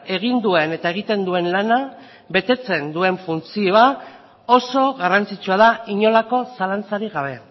egin duen eta egiten duen lana betetzen duen funtzioa oso garrantzitsua da inolako zalantzarik gabe